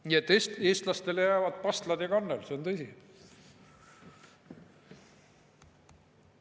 Nii et eestlastele jäävad pastlad ja kannel, see on tõsi.